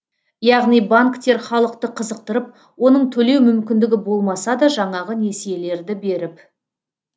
яғни банктер халықты қызықтырып оның төлеу мүмкіндігі болмаса да жаңағы несиелерді беріп